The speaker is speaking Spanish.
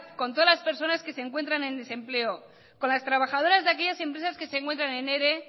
con todas las personas que se encuentran en desempleo con las trabajadoras de aquellas empresas que se encuentran en ere